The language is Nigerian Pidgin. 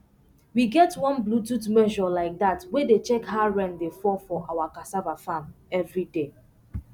we get one bluetooth measure like that wey dey check how rain dey fall for our cassava farm every day